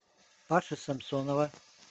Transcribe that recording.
паши самсонова